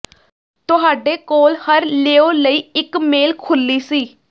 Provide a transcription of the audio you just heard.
ਤੁਹਾਡੇ ਕੋਲ ਹਰ ਲੇਓ ਲਈ ਇੱਕ ਮੇਲ ਖੁਰਲੀ ਸੀ